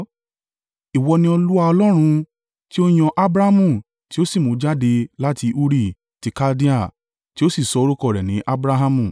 “Ìwọ ni Olúwa Ọlọ́run, tí ó yan Abramu tí ó sì mú u jáde láti Uri ti Kaldea, tí ó sì sọ orúkọ rẹ̀ ní Abrahamu.